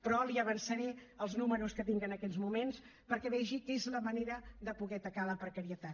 però li avançaré els números que tinc en aquests moments perquè vegi que és la manera de poder atacar la precarietat